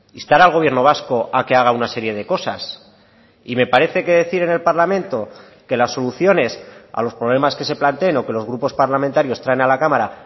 instar al gobierno vasco a que haga una serie de cosas y me parece que decir en el parlamento que las soluciones a los problemas que se planteen o que los grupos parlamentarios traen a la cámara